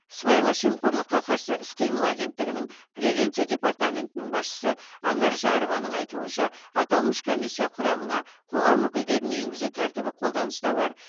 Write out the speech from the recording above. сыбайлас жемқорлыққа қарсы іс қимыл агенттігінің превенция департаментінің басшысы анар жарованың айтуынша аталмыш комиссия құрамына қоғам өкілдерін енгізу тәртібі қолданыста бар